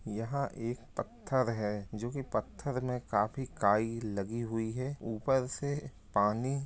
यहाँ एक पत्थर है जो की पत्थर में काफी काइ लगी हुई है ऊपर से पानी --